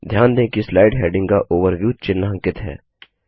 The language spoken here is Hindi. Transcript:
ध्यान दें कि स्लाइड हैडिंग का ओवरव्यू चिन्हांकित है